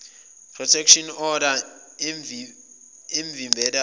protection order emvimbelayo